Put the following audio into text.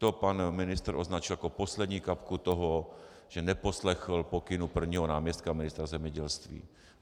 To pan ministr označil jako poslední kapku toho, že neposlechl pokyn prvního náměstka ministra zemědělství.